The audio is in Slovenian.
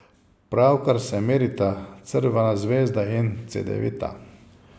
Pravkar se merita Crvena zvezda in Cedevita.